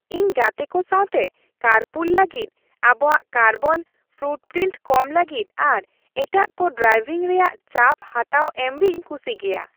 ᱤᱧ ᱜᱟᱛᱮ ᱠᱚ ᱥᱟᱶᱛᱮ ᱠᱟᱨᱯᱩᱞ ᱞᱟᱹᱜᱤᱫ, ᱟᱵᱚᱣᱟᱜ ᱠᱟᱨᱵᱚᱱ ᱯᱷᱩᱴᱯᱨᱤᱱᱴ ᱠᱚᱢ ᱞᱟᱹᱜᱤᱫ ᱟᱨ ᱮᱴᱟᱜ ᱠᱚ ᱰᱨᱟᱭᱵᱷᱤᱝ ᱨᱮᱭᱟᱜ ᱪᱟᱯ ᱦᱟᱛᱟᱣ ᱮᱢᱨᱮᱧ ᱠᱩᱥᱤ ᱜᱮᱭᱟ ᱾